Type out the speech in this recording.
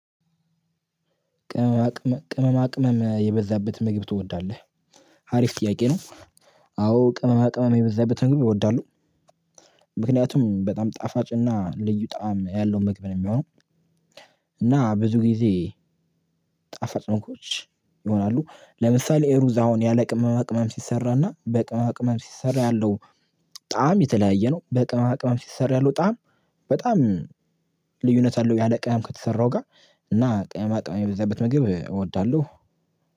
ቅመማ ቅመም ቅመማ ቅመም የበዛበት ምግብ ትወዳለህ አሪፍ ጥያቄ ነው? አዎ ቅመማ ቅመም የበዛበትን ምግብ እወዳለሁ። ምክንያቱም በጣም ጣፋጭና ልዩ ጣዕም ያለውን ምግብ ነው የሚሆነው። እና ብዙ ጊዜ ጣፋጭ ነው ምግቦች ይሆናሉ። ለምሳሌ ሩዝ አሁን ያለቅመማ ቅመም ሲሰራና በቅመማ ቅመም ሲሰራ ያለው። ጣዕም የተለያየ ነው ቅመም ሲሰራ ያለው ጣዕም በጣም ልዩነት አለው። ያለ ቅመም ከተሰራው ጋር እና ቅመማ ቅመም የሚበዛበት ምግብ እወዳለሁ።